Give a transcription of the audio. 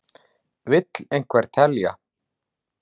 Vill einhver telja?